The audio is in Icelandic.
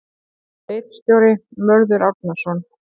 Ritstjóri: Mörður Árnason.